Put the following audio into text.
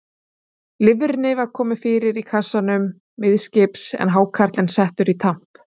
Lifrinni var komið fyrir í kassanum miðskips, en hákarlinn settur í tamp.